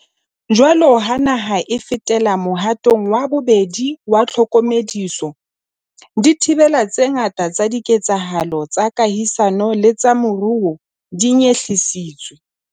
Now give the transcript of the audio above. Jwalo ka ha naha e fetela mohatong wa bobedi wa tlhokomediso, dithibelo tse ngata tsa diketsahalo tsa kahisano le tsa moruo di nyehlisitswe.